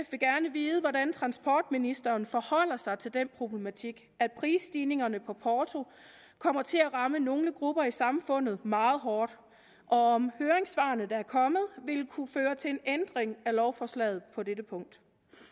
vide hvordan transportministeren forholder sig til den problematik at prisstigningerne på porto kommer til at ramme nogle grupper i samfundet meget hårdt og om høringssvarene der er kommet vil kunne føre til en ændring af lovforslaget på dette punkt